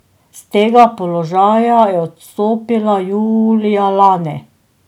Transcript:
S tega položaja je odstopila julija lani.